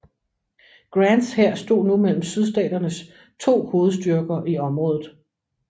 Grants hær stod nu mellem Sydstaternes to hovedstyrker i området